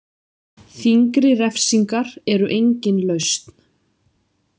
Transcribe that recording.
Þyngri refsingar eru engin lausn.